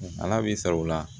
Ala b'i sara o la